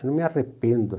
Eu não me arrependo.